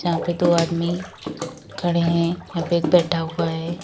यहां पे दो आदमी खड़े हैं यहां पे एक बैठा हुआ है।